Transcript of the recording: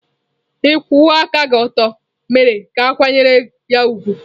Ịkwụwa aka ọtọ ya mere ka a kwanyere ya ùgwù.